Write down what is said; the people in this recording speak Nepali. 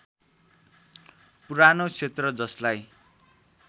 पुरानो क्षेत्र जसलाई